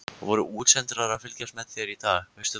Voru útsendarar að fylgjast með þér í dag, veistu það?